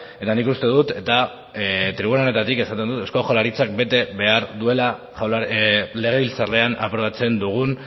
eta nik uste dut eta tribuna honetatik esaten dut eusko jaurlaritzak bete behar duela legebiltzarrean aprobatzen dugun